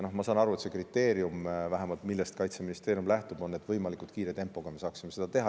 Ja ma saan aru, et see kriteerium, millest Kaitseministeerium lähtub, on see, et me saaksime võimalikult kiire tempoga seda teha.